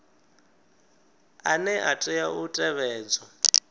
ane a tea u tevhedzwa